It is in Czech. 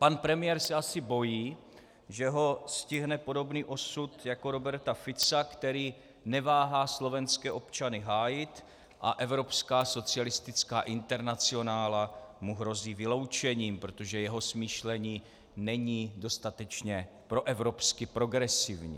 Pan premiér se asi bojí, že ho stihne podobný osud jako Roberta Fica, který neváhá slovenské občany hájit a Evropská socialistická internacionála mu hrozí vyloučením, protože jeho smýšlení není dostatečně proevropsky progresivní.